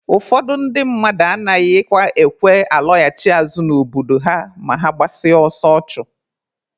Ụfọdụ ndị mmadụ anaghịkwa ekwe alọghachi azụ n'obodo ha ma ha gbasịa ọsọ ọchụ.